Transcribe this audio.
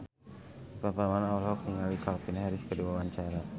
Ivan Permana olohok ningali Calvin Harris keur diwawancara